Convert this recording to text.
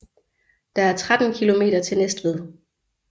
Der er 13 kilometer til Næstved